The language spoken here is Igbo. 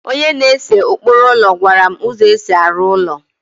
onye na-ese ụkpụrụ ụlọ gwara m ụzọ e si arụ ụlọ